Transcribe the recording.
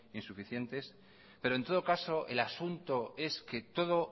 insuficientes pero en todo caso el asunto es que todo